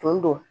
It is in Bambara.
Tun do